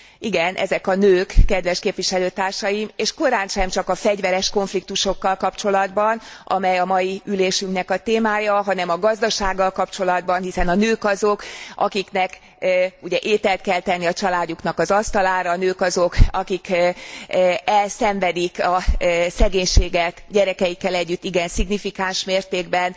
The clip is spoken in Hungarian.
Igen, ezek a nők, kedves képviselőtársaim, és korántsem csak a fegyveres konfliktusokkal kapcsolatban, amely a mai ülésünknek a témája, hanem a gazdasággal kapcsolatban, hiszen a nők azok, akiknek ugye ételt kell tenni a családjuknak az asztalára, a nők azok, akik elszenvedik a szegénységet gyerekeikkel együtt igen szignifikáns mértékben.